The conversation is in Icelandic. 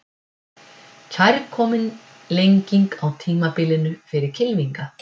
Kærkomin lenging á tímabilinu fyrir kylfinga